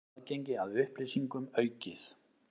Aðgengi að upplýsingum aukið